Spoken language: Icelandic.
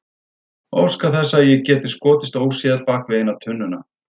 Óska þess að ég geti skotist óséð bak við eina tunnuna.